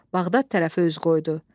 Bağdad tərəfə üz qoydu.